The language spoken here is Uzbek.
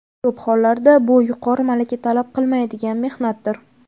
Ko‘p hollarda bu yuqori malaka talab qilmaydigan mehnatdir.